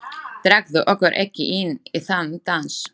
Dragðu okkur ekki inn í þann dans!